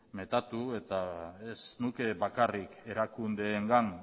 metatu eta ez nuke bakarrik erakundeengan